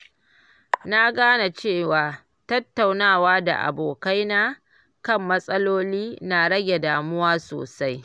Na gane cewa tattaunawa da abokaina kan matsaloli na rage damuwa sosai.